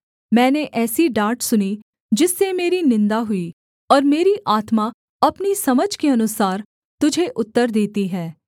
मैंने ऐसी डाँट सुनी जिससे मेरी निन्दा हुई और मेरी आत्मा अपनी समझ के अनुसार तुझे उत्तर देती है